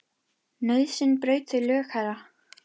Nauðsyn braut þau lög, herra.